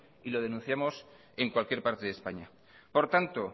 y lo denunciamos en cualquier parte de españa por tanto